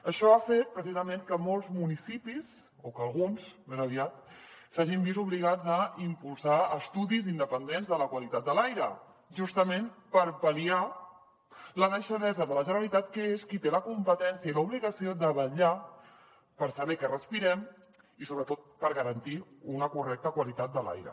això ha fet precisament que molts municipis o que alguns més aviat s’hagin vist obligats a impulsar estudis independents de la qualitat de l’aire justament per pal·liar la deixadesa de la generalitat que és qui té la competència i l’obligació de vetllar per saber què respirem i sobretot per garantir una correcta qualitat de l’aire